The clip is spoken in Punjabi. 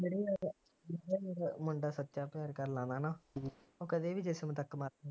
ਮੁੰਡਾ ਸੱਚਾ ਪਿਆਰ ਕਰ ਲੈਂਦਾ ਨਾ ਉਹ ਕਦੇ ਵੀ ਜਿਸਮ ਤਕ